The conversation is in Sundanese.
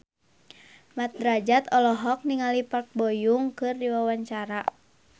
Mat Drajat olohok ningali Park Bo Yung keur diwawancara